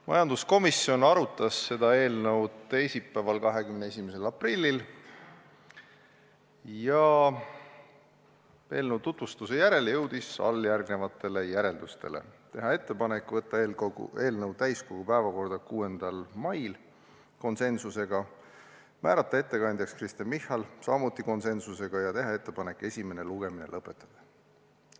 Majanduskomisjon arutas seda eelnõu teisipäeval, 21. aprillil ja eelnõu tutvustuse järel jõudis alljärgnevatele järeldustele: teha ettepanek võtta eelnõu täiskogu päevakorda 6. mail , määrata ettekandjaks Kristen Michal ja teha ettepanek esimene lugemine lõpetada.